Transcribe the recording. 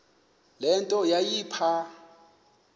le nto yayipha